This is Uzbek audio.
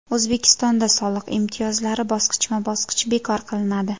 O‘zbekistonda soliq imtiyozlari bosqichma-bosqich bekor qilinadi.